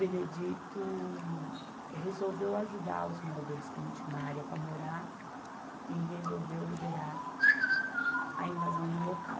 Benedito resolveu ajudar os moradores que não tinham uma área para morar e resolveu liberar a invasão no local.